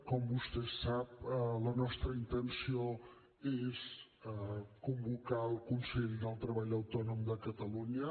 com vostè sap la nostra intenció és convocar el consell del treball autònom de catalunya